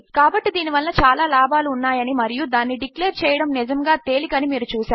కాబట్టి దీని వలన చాలా లాభములు ఉన్నాయి అని మరియు దానిని డిక్లేర్ చేయడము నిజముగా తేలిక అని మీరు చూసారు